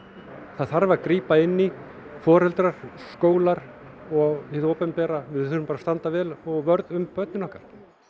það þarf að grípa inn í foreldrar skólar og hið opinbera við þurfum bara að standa vörð um börnin okkar